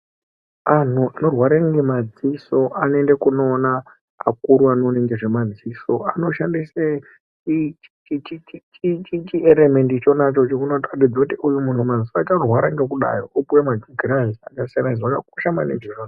Antu anorware nemadziso anoenda kunoona vakuru vanoona nezvadziso anoshandisa chieremendi chonanaichocho chinobangidza kuti uyu madziso ake arikurwara ngekudai opiwa magirazi zvakakosha izvozvo .